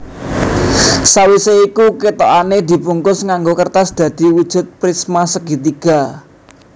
Sawisé iku kethokané dibungkus nganggo kertas dadi wujud prismasegitiga